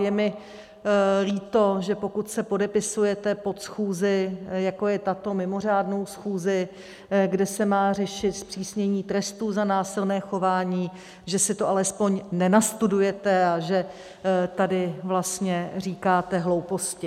Je mi líto, že pokud se podepisujete pod schůzi, jako je tato, mimořádnou schůzi, kde se má řešit zpřísnění trestů za násilné chování, že si to alespoň nenastudujete a že tady vlastně říkáte hlouposti.